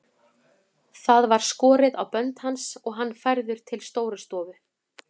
Það var skorið á bönd hans og hann færður til Stórustofu.